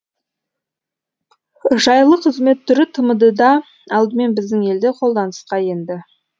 жайлы қызмет түрі тмд да алдымен біздің елде қолданысқа енді